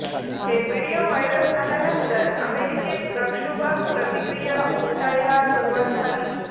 हे video viral झाल्यानंतर अमेरिकेत प्रक्षोभक प्रतिक्रिया उमटायला सुरुवात झाली